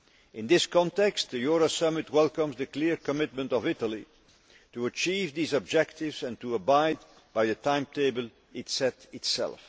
In this context, the Euro Summit welcomes the clear commitment of Italy to achieve these objectives and to abide by the timetable it set itself.